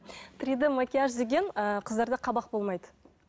три д макияж деген ыыы қыздарда қабақ болмайды